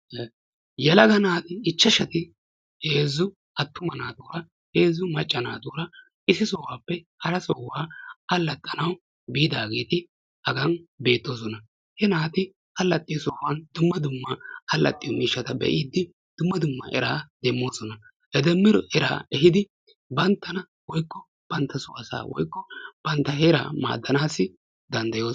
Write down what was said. Yelaga naati ichashshati heezzu attumma naatuura heezzu maccaa naatuura issi sohuwappe hara sohuwaa alaxxana biidageeti beettoosona. ha naati alaxiyo sohuwan dumma dumma miishshata be'idi dumma dumma era demmanaw danddyoosona. he demmido era ehidi bantta woykko banttaa so asaa meeddanayoo danddayoosona.